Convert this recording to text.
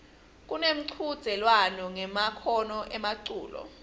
kunemchudzelwano ngemakhono emculo